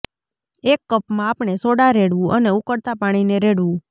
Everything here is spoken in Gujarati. એક કપમાં આપણે સોડા રેડવું અને ઉકળતા પાણીને રેડવું